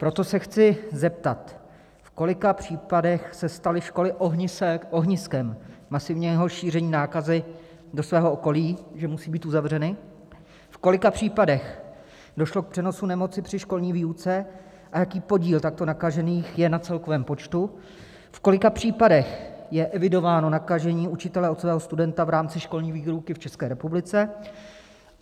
Proto se chci zeptat, v kolika případech se staly školy ohniskem masivního šíření nákazy do svého okolí, že musí být uzavřeny, v kolika případech došlo k přenosu nemoci při školní výuce a jaký podíl takto nakažených je na celkovém počtu, v kolika případech je evidováno nakažení učitele od jeho studenta v rámci školní výuky v České republice.